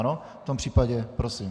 Ano, v tom případě prosím.